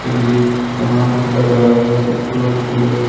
ಇಲ್ಲಿ ಸುಮಾರು ತರಹದ ಬುಕ್ಕುಗಳು ಕೂಡ ಇವೆ.